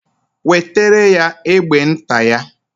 Wetere ya egbe nta ya.